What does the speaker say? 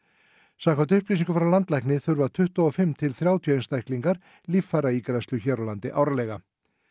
samkvæmt upplýsingum frá landlækni þurfa tuttugu og fimm til þrjátíu einstaklingar líffæraígræðslu hér á landi árlega